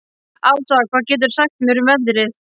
Ása, hvað geturðu sagt mér um veðrið?